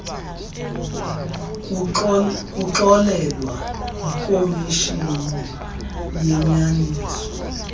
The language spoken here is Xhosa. kuxolelwa yikomishoni yenyaniso